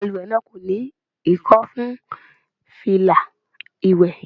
Balùwẹ̀ náà kò ní Ìkọ́ fún fìlà ìwé.